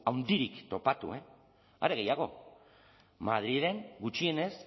handirik topatu are gehiago madrilen gutxienez